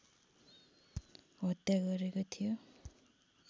हत्या गरेको थियो